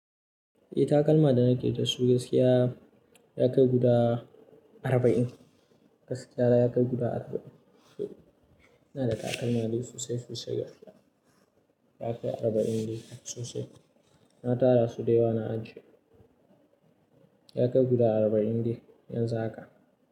Eh takalma da nake da su gaskiya ya kai guda arba'in. Gaskiya ya kai guda arba'in. Ina da takalma dai sosai sosai gaskiya. Ya kai arba'in dai sosai. Na tara su da yawa na ajiye. Ya kai guda arba'in dai yanzu haka.